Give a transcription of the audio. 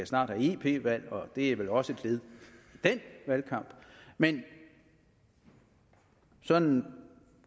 snart have ep valg og det er vel også et led i den valgkamp men sådan